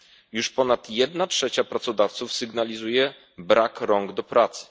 Już ponad jedna trzecia pracodawców sygnalizuje brak rąk do pracy.